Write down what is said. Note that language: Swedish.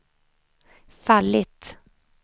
fallit